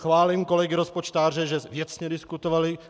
Chválím kolegy rozpočtáře, že věcně diskutovali.